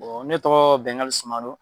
ne tɔgɔ Bɛngali Sumano.